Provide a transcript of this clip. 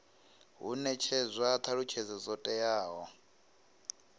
hu netshedzwa thalutshedzo dzo teaho